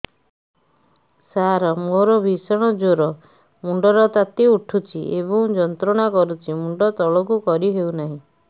ସାର ମୋର ଭୀଷଣ ଜ୍ଵର ମୁଣ୍ଡ ର ତାତି ଉଠୁଛି ଏବଂ ଯନ୍ତ୍ରଣା କରୁଛି ମୁଣ୍ଡ ତଳକୁ କରି ହେଉନାହିଁ